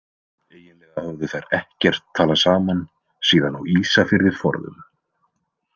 Eiginlega höfðu þær ekkert talað saman síðan á Ísafirði forðum.